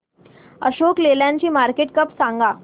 अशोक लेलँड ची market cap सांगा